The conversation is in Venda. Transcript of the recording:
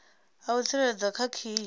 a u tsireledza kha khiyi